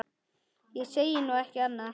Ég segi nú ekki annað.